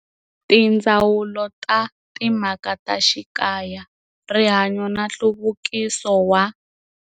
Tindzawulo ta Timhaka ta Xikaya, Rihanyo na Nhluvukiso wa.